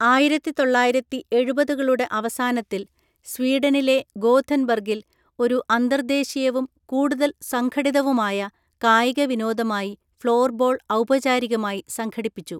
ആയിരത്തിതൊള്ളായിരത്തിഎഴുപതുകളുടെ അവസാനത്തിൽ സ്വീഡനിലെ ഗോഥെൻബർഗിൽ ഒരു അന്തർദേശീയവും കൂടുതൽ സംഘടിതവുമായ കായിക വിനോദമായി ഫ്ലോർബോൾ ഔപചാരികമായി സംഘടിപ്പിച്ചു.